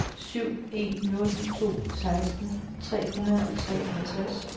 syv en nul to seksten tre hundrede og treoghalvtreds